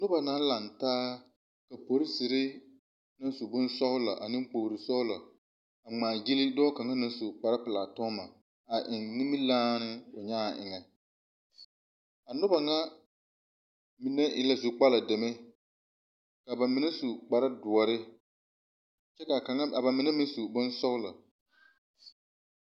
Nuba naŋ laŋ taa ka polisire naŋ su boŋ sɔglɔ ane kpoli sɔglɔ a ŋmaa gyili dɔɔ kanga na su kpare pulaa tɔgma a eŋ niminyaane nyaa eŋe. A nuba na mene e la zu kpala dɛmɛ. Ka ba mene su kpare duore. Kyɛ ka kanga ka ba mene meŋ su boŋ sɔglɔ